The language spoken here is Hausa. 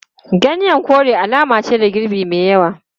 Ganyen kore alama ce ga girbi mai yawa.